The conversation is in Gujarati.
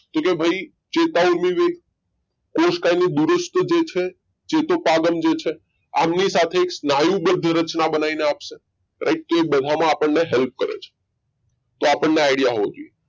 તો કે ભાઈ ચેતા ઊર્મિ વેગ કોષકાયને દૂરસ્થ જે છે જે ચેતુ પબંધ જે છે આમની સાથે એક સ્નાયુબંધ રચના બનાવીને આપશે right તો એ બધામાં આપણને help કરે છે તો આપણને idea હોવો જોઈએ